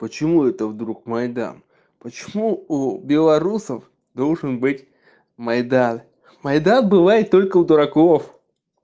почему это вдруг майдан почему у белорусов должен быть майдан майдан бывает только у дураков